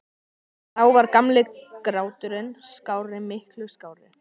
Þá var gamli gráturinn skárri- miklu skárri.